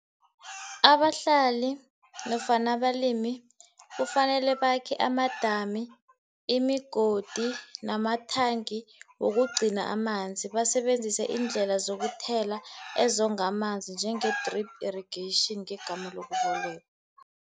Abahlali nofana abalimi kufanele bakhe amadamu, imigodi nama-tank wokugcina amanzi, basebenzise iindlela zokuthelela ezonga amanzi njenge-drip irrigation ngegama lokubolekwa.